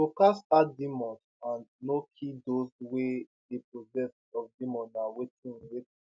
to cast out demons and no kill those wey dey possessed of demons na wetin wetin